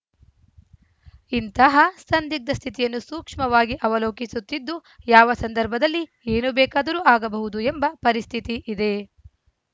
ಇಂತಹ ಸಂದಿಗ್ಧ ಸ್ಥಿತಿಯನ್ನು ಸೂಕ್ಷ್ಮವಾಗಿ ಅವಲೋಕಿಸುತ್ತಿದ್ದು ಯಾವ ಸಂದರ್ಭದಲ್ಲಿ ಏನು ಬೇಕಾದರೂ ಆಗಬಹುದು ಎಂಬ ಪರಿಸ್ಥಿತಿ ಇದೆ